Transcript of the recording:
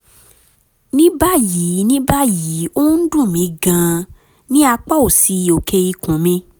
ní báyìí ní báyìí ó ń dùn mí gan-an ní apá òsì òkè ikùn mi